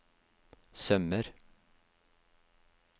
sømmer